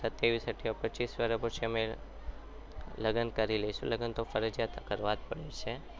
પચીસ વર્ષ પછી અમે લગ્ન કરી લઈશું લગ્ન તો અમારા ફરજિયાત કરવા જ પડશે.